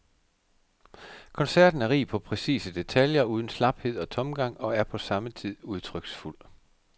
Koncerten er rig på præcise detaljer uden slaphed og tomgang og er på samme tid udtryksfuld.